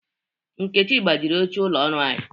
Nkechi gbajiri oche ụlọ oru anyi.